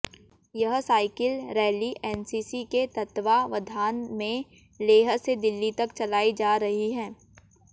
यह cycle rally NCC के तत्वावधान में लेह से दिल्ली तक चलाई जा रही है